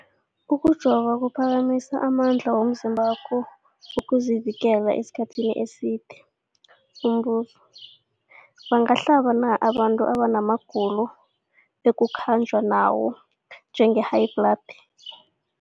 Ukujova kuphakamisa amandla womzimbakho wokuzivikela isikhathi eside. Umbuzo, bangahlaba na abantu abana magulo ekukhanjwa nawo, njengehayibhladi?